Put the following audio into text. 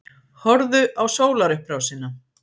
Horfðu á sólarupprásina.